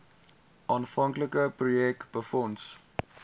aanvanklike projek befonds